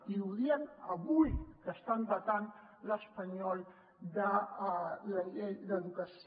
i ho diem avui que estan vetant l’espanyol de la llei d’educació